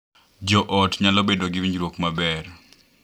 Jo ot nyalo bedo gi winjruok maber